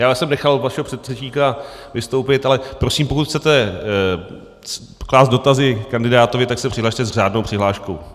Já jsem nechal vašeho předřečníka vystoupit, ale prosím, pokud chcete klást dotazy kandidátovi, tak se přihlaste s řádnou přihláškou.